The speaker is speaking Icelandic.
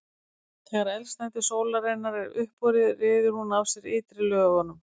þegar eldsneyti sólarinnar er uppurið ryður hún af sér ytri lögunum